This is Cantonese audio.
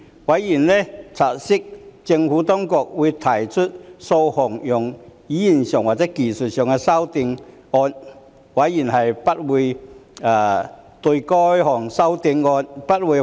委員察悉政府當局會提出數項在用語上和技術上的修正案，委員不會反對該等修正案。